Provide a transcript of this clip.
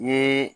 N ye